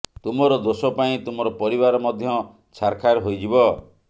ତୁମର ଦୋଷ ପାଇଁ ତୁମର ପରିବାର ମଧ୍ୟ ଛାରଖାର ହୋଇଯିବ